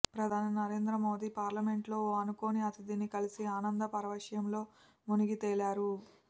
ప్రధాని నరేంద్ర మోదీ పార్లమెంటులో ఓ అనుకోని అతిథిని కలిసి ఆనంద పారవశ్యంలో మునిగితేలారు